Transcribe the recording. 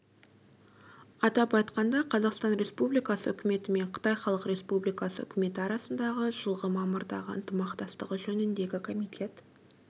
атап айтқанда қазақстан республикасы үкіметі мен қытай халық республикасы үкіметі арасындағы жылғы мамырдағы ынтымақтастығы жөніндегі комитет